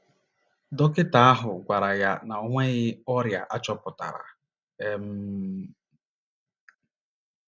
Dọkịta ahụ gwara ha na o nweghị ọrịa a chọpụtara um.